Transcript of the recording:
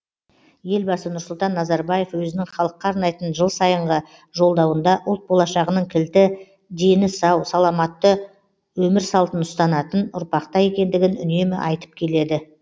елбасы нұрсұлтан назарбаев өзінің халыққа арнайтын жылсайынғы жолдауында ұлт болашағының кілті дені сау саламатты өмір салтын ұстанатын ұрпақта екендігін үнемі айтып келеді